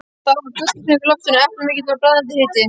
Það var fuglasöngur í loftinu, eplailmur og brakandi hiti.